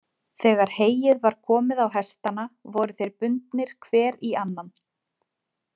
Þegar heyið var komið á hestana voru þeir bundnir hver í annan.